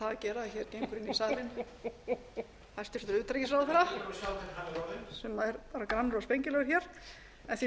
gera að hér gengur inn í salinn hæstvirts utanríkisráðherra sem er bara grannur og spengilegur en því